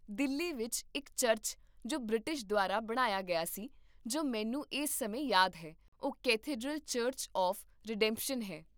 ਦਿੱਲੀ ਵਿੱਚ ਇੱਕ ਚਰਚ ਜੋ ਬ੍ਰਿਟਿਸ਼ ਦੁਆਰਾ ਬਣਾਇਆ ਗਿਆ ਸੀ, ਜੋ ਮੈਨੂੰ ਇਸ ਸਮੇਂ ਯਾਦ ਹੈ, ਉਹ ਕੈਥੇਡ੍ਰਲ ਚਰਚ ਆਫ਼਼ ਰੀਡੈਂਪਸ਼ਨ ਹੈ